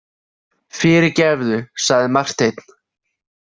Fyrirgefðu, sagði Marteinn.